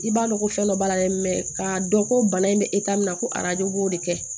I b'a dɔn ko fɛn dɔ b'a la dɛ k'a dɔn ko bana in bɛ min na ko arajo b'o de kɛ